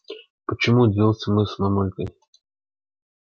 почему удивились мы с мамулькой